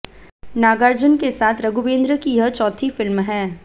नागार्जुन के साथ रघुवेंद्र की यह चौथी फिल्म है